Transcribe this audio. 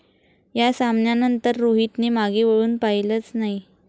या सामन्यानंतर रोहितने मागे वळून पाहिलंच नाही.